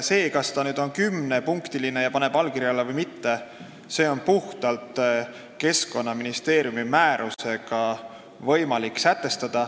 Seda, kas seal paberilehel on kümme punkti ja kas inimene paneb allkirja alla või mitte, on võimalik kehtestada puhtalt Keskkonnaministeeriumi määrusega.